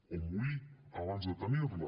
o morir abans de tenir la